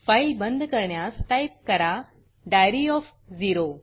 file बंद करण्यास type करा डायरी ओएफ झेरो